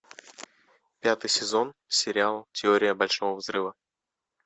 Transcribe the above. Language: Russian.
пятый сезон сериал теория большого взрыва